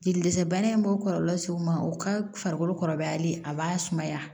Jeli dɛsɛ bana in b'o kɔlɔlɔ se u ma u ka farikolo kɔrɔbayali a b'a sumaya